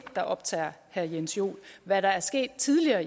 der optager herre jens joel hvad der er sket tidligere